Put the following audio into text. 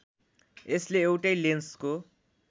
यसले एउटै लेन्सको